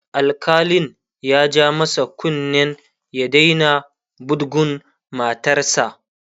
alkalin ya ja masa kunnen ya Daina budgun matarsa